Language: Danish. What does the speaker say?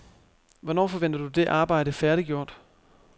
Hvornår forventer du det arbejde færdiggjort?